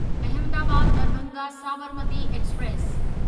Ahmedabad Darbhanga Sabarmati express